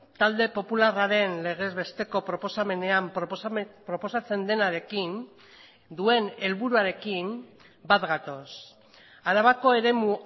talde popularraren legez besteko proposamenean proposatzen denarekin duen helburuarekin bat gatoz arabako eremu